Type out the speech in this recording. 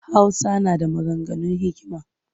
Hausa na da maganganun hikima